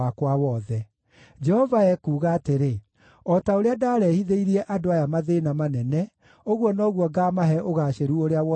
“Jehova ekuuga atĩrĩ: O ta ũrĩa ndaarehithĩirie andũ aya mathĩĩna manene, ũguo noguo ngaamahe ũgaacĩru ũrĩa wothe ndĩmerĩire.